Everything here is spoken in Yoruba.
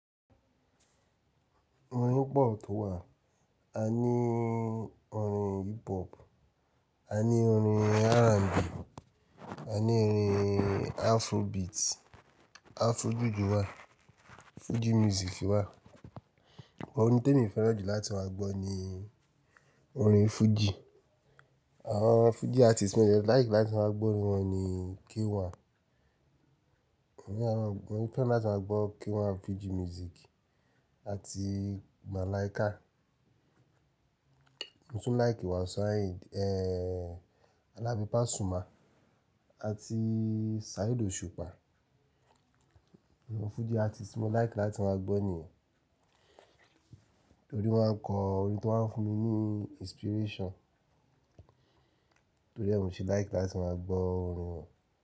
Orin o po tó wà, a ní orin hip hop, a ní orin R&B, a ní orin Afrobeat, Afro juju wà, Fuji music wà. Orin ti emi fẹ́ràn jù láti máa gbọ́ ni orin Fuji. Àwọn Fuji artist ti mo de like láti máa gbọ́ orin wọn ni K1. Mo fẹ́ràn láti máa gbọ́ K1 Fuji Music àti Malaika. Mo tún like Wasiu Ayinde, Alabi Pasuma àti Saheed Osupa. Àwọn Fuji artist mo like láti máa gbọ́ nìyẹn. Torí wọ́n a kọ orin tó ma ń fún mi ní inspiration. Torí ẹ́, mo sì like láti máa gbọ́ orin wọn.